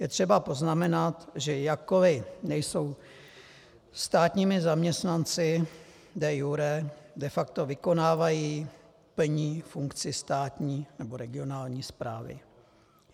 Je třeba poznamenat, že jakkoli nejsou státními zaměstnanci de iure, de facto vykonávají, plní funkci státní nebo regionální správy.